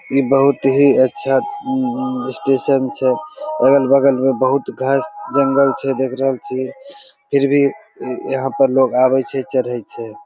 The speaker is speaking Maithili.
इ बहुत ही अच्छा स्टेशन छै अगल-बगल मे बहुत घास जंगल छै देख रहल छी फिर भी यहां पे लोग आबे छै चढे छै।